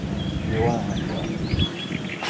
ну дела надо делать